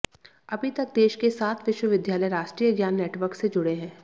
अभी तक देश के सात विश्वविद्यालय राष्ट्रीय ज्ञान नेटवर्क से जुड़े हैं